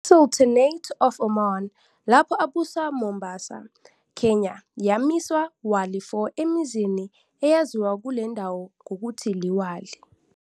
I Sultanate of Oman, lapho abusa Mombasa, Kenya, yamisa "wali" for emzini eyaziwa kule ndawo ngokuthi "LiWali."